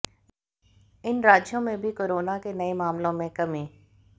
इन राज्यों में भी कोरेना के नए मामलों में कमी